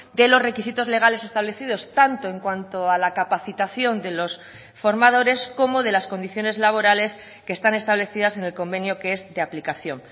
de los requisitos legales establecidos tanto en cuanto a la capacitación de los formadores como de las condiciones laborales que están establecidas en el convenio que es de aplicación